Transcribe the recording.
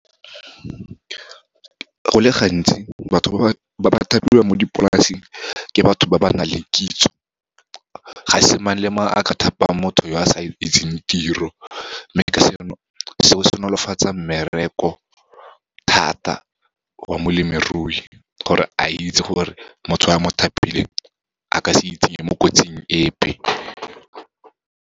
Go le gantsi, batho ba ba thapiwang mo dipolaseng, ke batho ba ba nang le kitso, ga se mang le mang a ka thapang motho yo a sa itseng tiro. Mme ka seno, seo se nolofatsa mmereko thata wa molemirui, gore a itse gore motho a mo thapileng, a ka se itsenye mo kotsing epe.